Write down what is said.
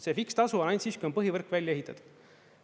See fikstasu on ainult siis, kui on põhivõrk välja ehitatud.